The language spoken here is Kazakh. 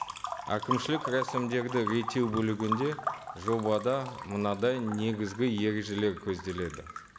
әкімшілік рәсімдерді реттеу бөлігінде жобада мынадай негізгі ережелер көзделеді